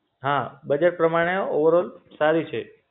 હા બજેટ પ્રમાણે ઓવરઓલ સારી છે.